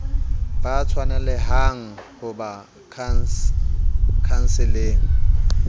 ba tshwanelehang ho ba khanseleng